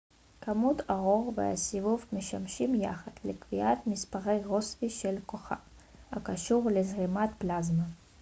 כמות האור והסיבוב משמשים יחד לקביעת מספר רוסבי של כוכב הקשור לזרימת פלזמה